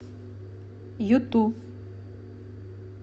юту